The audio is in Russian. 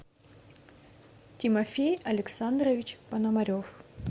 тимофей александрович пономарев